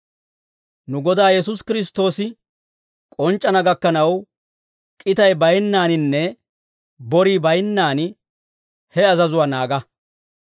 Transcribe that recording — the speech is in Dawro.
Nu Godaa Yesuusi Kiristtoosi k'onc'c'ana gakkanaw, k'itay bayinnaaninne borii baynnaan he azazuwaa naaga.